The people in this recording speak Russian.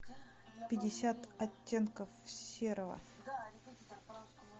пятьдесят оттенков серого